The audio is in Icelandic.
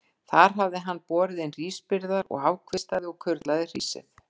Þar hafði hann borið inn hrísbyrðar og afkvistaði og kurlaði hrísið.